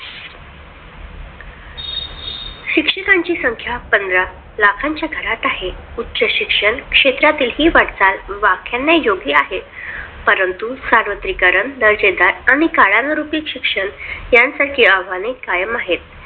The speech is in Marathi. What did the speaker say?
शिक्षकांची संख्या पंधरा लाखांच्या घरात आहेत. उच्च शिक्षण क्षेत्रातील ही वाटचाल वाखानने योग्य आहे परंतु सर्वत्रीकरण दर्जेदार आणि काळानुरूपी शिक्षण यासारखे आव्हाने कायम आहेत.